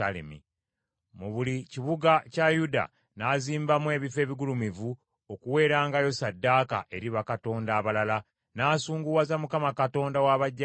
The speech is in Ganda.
Mu buli kibuga kya Yuda n’azimbamu ebifo ebigulumivu okuwerangayo ssaddaaka eri bakatonda abalala, n’asunguwaza Mukama Katonda wa bajjajjaabe.